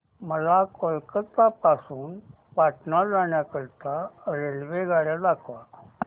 मला कोलकता पासून पटणा जाण्या करीता रेल्वेगाड्या दाखवा